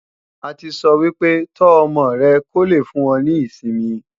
A ti sọ́ wípé, "tó ọmọ rẹ kó lè fún ọ ní ìsinmi "